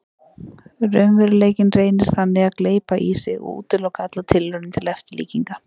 Raunveruleikinn reynir þannig að gleypa í sig og útiloka allar tilraunir til eftirlíkinga.